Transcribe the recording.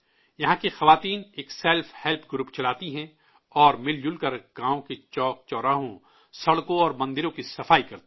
یہاں کی عورتیں ایک سیلف ہیلپ گروپ چلاتی ہیں اور مل جل کر گاؤں کے چوک چوراہوں، سڑکوں اور مندروں کی صفائی کرتی ہیں